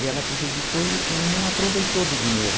E ela prejudicou e e não aproveitou do dinheiro.